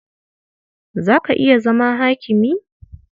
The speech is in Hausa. Za ka iya zama hakimi?